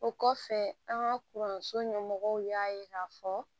O kɔfɛ an ka kɔrɔnso ɲɛmɔgɔw y'a ye k'a fɔ